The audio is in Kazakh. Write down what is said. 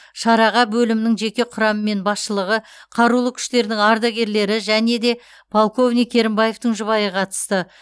шараға бөлімнің жеке құрамы мен басшылығы қарулы күштердің ардагерлері және де полковник керімбаевтің жұбайы қатысты